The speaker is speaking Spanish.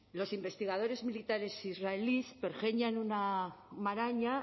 los investigadores militares israelíes pergeñan una maraña